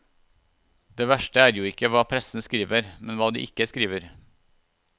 Det verste er jo ikke hva pressen skriver, men hva de ikke skriver.